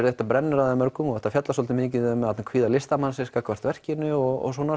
þetta brennur á þeim mörgum og þetta fjallar svolítið mikið um kvíða listamannsins gagnvart verkinu og svona